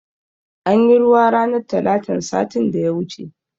Anyi ruwa ranar talatan satin da ya wuce